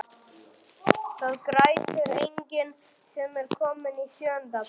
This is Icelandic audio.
Það grætur enginn sem er kominn í sjöunda bekk.